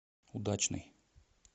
удачный